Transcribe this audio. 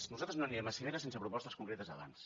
nosaltres no anirem a cimeres sense propostes concretes abans